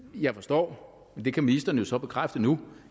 jeg forstår og det kan ministeren jo så bekræfte nu